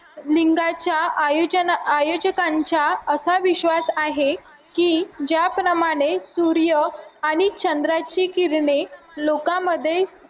आयोजकांच्या असा विश्वास आहे की ज्याप्रमाणे सूर्य आणि चंद्राची किरणे लोकांमध्ये